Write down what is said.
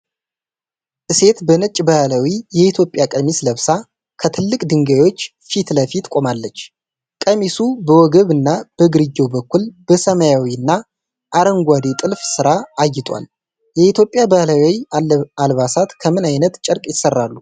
ሴት በነጭ ባህላዊ የኢትዮጵያ ቀሚስ ለብሳ ከትልቅ ድንጋዮች ፊት ለፊት ቆማለች። ቀሚሱ በወገብ እና በግርጌው በኩል በሰማያዊ እና አረንጓዴ ጥልፍ ስራ አጊጧል። የኢትዮጵያ ባህላዊ አልባሳት ከምን ዓይነት ጨርቅ ይሰራሉ?